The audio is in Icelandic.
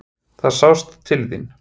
Það sást til þín.